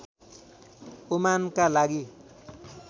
ओमानका लागि